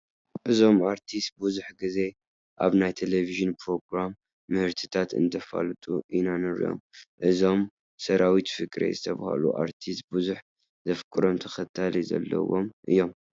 እዞም ኣርቲስ ብዙሕ ግዜ ኣብ ናይ ቴለብዥን ፕሮግራም ምህርትታት እንተፋልጡ ኢና ንሪኦም፡፡ እዞም ሰራዊት ፍቅሬ ዝበሃሉ ኣርቲስት ብዙሕ ዘፍቅሮም ተኸታሊ ዘለዎም እዮም፡፡